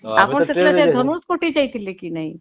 ଆପଣ ସେ ଧନୁଷ କୋଟି ଯାଉଥିଲେ କି ନାଇଁ?